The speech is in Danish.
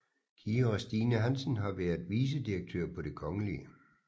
Kira Stine Hansen har været vicedirektør på Det Kgl